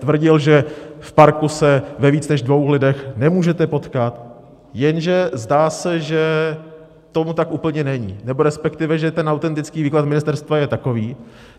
Tvrdil, že v parku se ve víc než dvou lidech nemůžete potkat, jenže zdá se, že tomu tak úplně není, nebo respektive že ten autentický výklad ministerstva je takový.